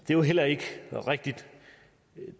det er heller ikke rigtigt